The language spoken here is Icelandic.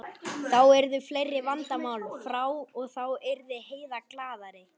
Þá yrðu fleiri vandamál frá og þá yrði Heiða glaðari.